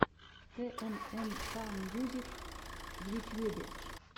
тнмкмьюзик в ютьюбе